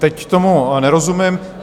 Teď tomu nerozumím.